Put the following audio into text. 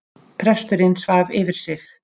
Presturinn svaf yfir sig